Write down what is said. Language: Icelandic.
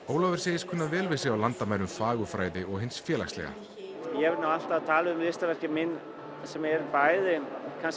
Ólafur segist kunna vel við sig á landamærum fagurfræði og hins félagslega ég hef alltaf talið listaverkin mín sem eru bæði